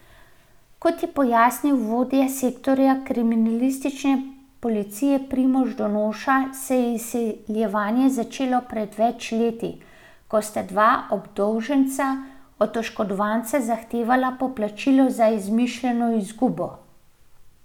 Kot je pojasnil vodja sektorja kriminalistične policije Primož Donoša se je izsiljevanje začelo pred več leti, ko sta dva obdolženca od oškodovanca zahtevala poplačilo za izmišljeno izgubo.